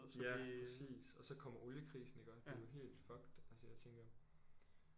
Ja præcis og så kommer oliekrisen iggå det er jo helt fucked altså jeg tænker